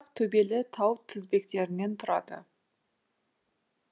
жайпақ төбелі тау тізбектерінен тұрады